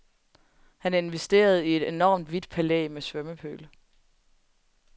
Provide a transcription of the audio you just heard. Han investerede i et enormt hvidt palæ med svømmepøl.